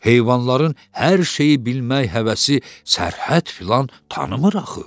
Heyvanların hər şeyi bilmək həvəsi sərhəd filan tanımır axı.